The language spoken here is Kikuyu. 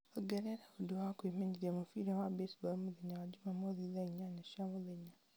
ongerera ũndũ wa kwĩmenyeria mũbira wa baseball mũthenya wa njuumamothi thaa inyanya cia mũthenya